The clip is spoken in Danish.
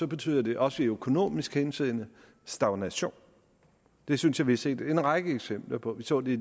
betyder det også i økonomisk henseende stagnation det synes jeg vi har set en række eksempler på vi så det